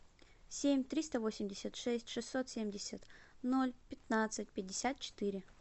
семь триста восемьдесят шесть шестьсот семьдесят ноль пятнадцать пятьдесят четыре